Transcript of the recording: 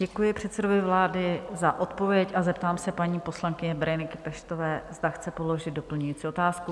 Děkuji předsedovi vlády za odpověď a zeptám se paní poslankyně Bereniky Peštové, zda chce položit doplňující otázku?